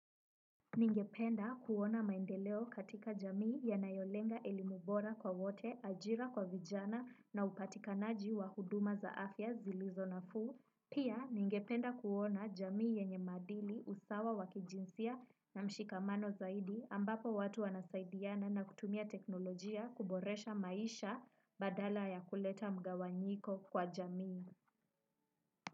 Ningependa kuona maendeleo katika jamii ya nayolenga elimubora kwa wote ajira kwa vijana na upatikanaji wa huduma za afya zilizo nafuu. Pia ningependa kuona jamii yenye maadili usawa wakijinsia na mshikamano zaidi ambapo watu wanasaidiana na kutumia teknolojia kuboresha maisha badala ya kuleta mgawanyiko kwa jamii.